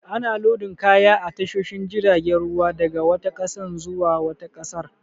Ana lodin kaya a tashoshin jiragen ruwa daga wata ƙasa zuwa wata ƙasar.